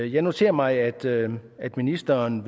jeg noterer mig at ministeren